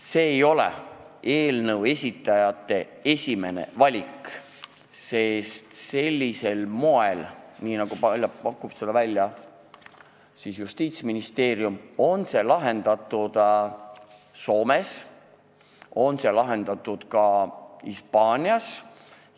See ei ole eelnõu esitajate esimene valik, sest sellisel moel, nagu pakub välja Justiitsministeerium, on see lahendatud Soomes ja ka Hispaanias.